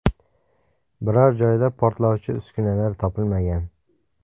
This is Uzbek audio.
Biror joyda portlovchi uskunalar topilmagan.